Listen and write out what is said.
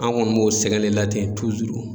An kɔni b'o sɛgɛn de la ten